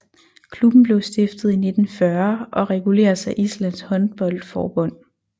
Klubben blev stiftet i 1940 og reguleres af Islands håndboldforbund